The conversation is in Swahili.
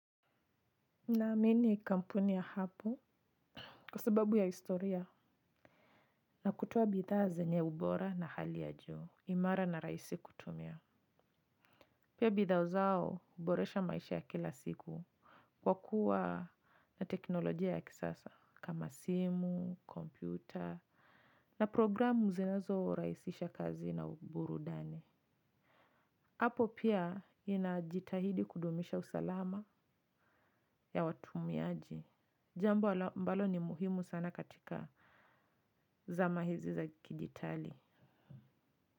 Naamini kampuni ya hapo kwa sababu ya historia na kutoa bidhaa zenye ubora na hali ya juu, imara na raisi kutumia. Pia bidhaa zao uboresha maisha ya kila siku kwa kuwa na teknolojia ya kisasa kama simu, kompyuta na programu zinazo rahisisha kazi na uburudani. Apple pia inajitahidi kudumisha usalama ya watumiaji. Jambo ambalo ni muhimu sana katika zama hizi za kidijitali.